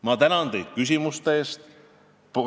Ma tänan teid küsimuste eest!